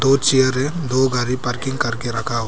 कुछ चेयर हैं दो गाड़ी पार्किंग करके रखा हुआ--